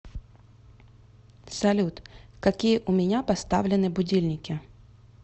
салют какие у меня поставлены будильники